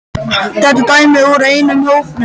Þetta er dæmi úr einum hópnum